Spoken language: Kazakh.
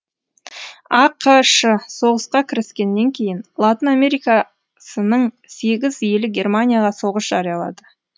ақш соғысқа кіріскеннен кейін латын америкасының сегіз елі германияға соғыс жариялады